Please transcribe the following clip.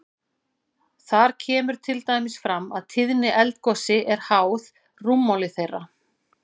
Þar kemur til dæmis fram að tíðni eldgosi er háð rúmmáli þeirra.